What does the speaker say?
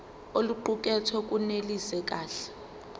oluqukethwe lunelisi kahle